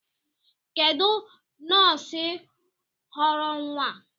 Kedụ nọọsụ ghọrọ nwa a?